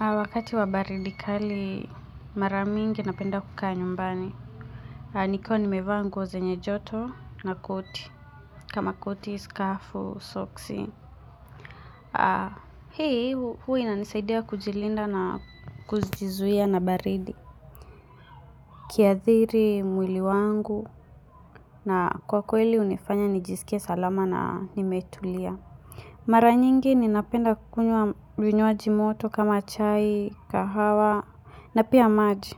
Wakati wa baridi kali mara mingi napenda kukaa nyumbani. Nikiwa nimevaa nguo zenye joto na koti. Kama koti, skafu, soksi. Hii huwa inanisaidia kujilinda na kujizuia na baridi. Kiadhiri, mwili wangu na kwa kweli unifanya nijisikia salama na nimetulia. Mara nyingi ninapenda kukunywa vinywaji moto kama chai, kahawa na pia maji.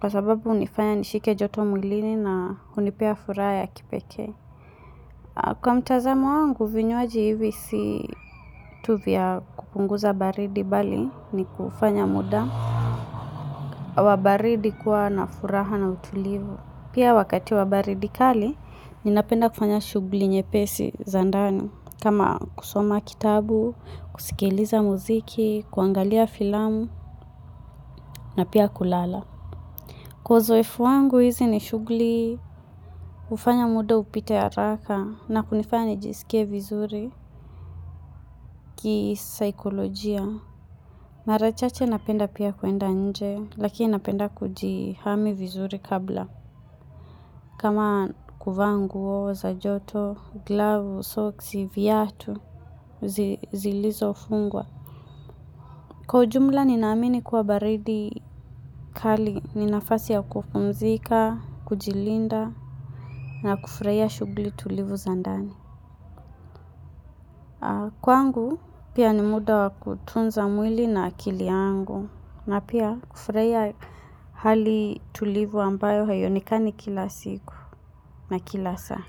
Kwa sababu unifanya nishike joto mwilini na hunipea furaha ya kipekee. Kwa mtazamo wangu, vinywaji hivi si tu vya kupunguza baridi bali ni kufanya muda. Wa baridi kuwa na furaha na utulivu. Pia wakati wa baridi kali, ninapenda kufanya shugli nyepesi zandani. Kama kusoma kitabu, kusikiliza muziki, kuangalia filamu na pia kulala. Kwa zoefu wangu hizi ni shugli, ufanya muda upite haraka na kunifanya nijisikie vizuri kisaikolojia. Marachache napenda pia kuenda nje, lakini napenda kujihami vizuri kabla. Kama kuvaa nguo, za joto, glavu, socks, viatu, zilizo fungwa. Kwa ujumla ninaamini kuwa baridi kali ninafasi ya kupumzika, kujilinda na kufraia shugli tulivu za ndani. Kwangu pia ni muda wa kutunza mwili na akili yangu na pia kufraia hali tulivu ambayo haionekani kila siku na kila saa.